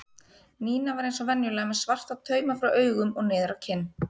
Nína var eins og venjulega með svarta tauma frá augum og niður á kinn.